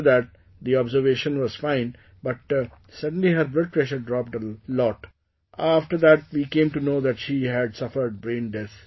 After that the observation was fine, but suddenly her blood pressure dropped a lot, after that, we came to know that she had suffered brain death